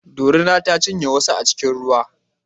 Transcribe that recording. Dorina ta cinye wasu a cikin ruwa